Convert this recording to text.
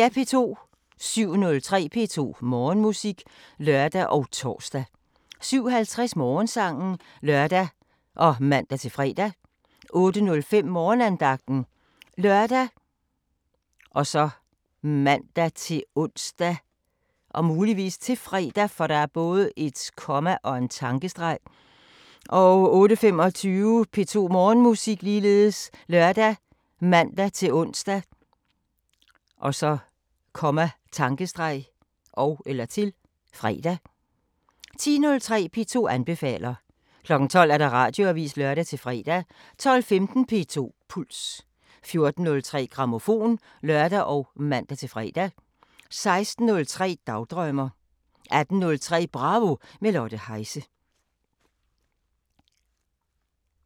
07:03: P2 Morgenmusik (lør og tor) 07:50: Morgensangen (lør og man-fre) 08:05: Morgenandagten ( lør, man-ons, -fre) 08:25: P2 Morgenmusik ( lør, man-ons, -fre) 10:03: P2 anbefaler 12:00: Radioavisen (lør-fre) 12:15: P2 Puls 14:03: Grammofon (lør og man-fre) 16:03: Dagdrømmer 18:03: Bravo – med Lotte Heise